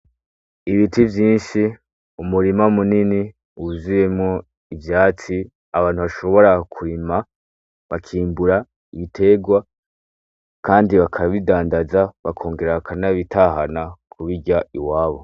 Ibiti vyinshi ,umurima munini ,wuzuyemwo ivyatsi abantu bashobora kurima bakimbura ibiterwa bakabidandaza bakongera bakanabitahana kubirya iwabo.